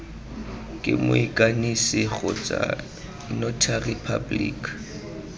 ke moikanisi kgotsa notary public